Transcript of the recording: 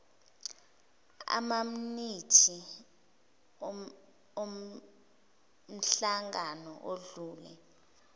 amaminithi omhlangano odlule